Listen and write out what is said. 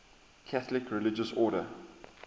catholic religious order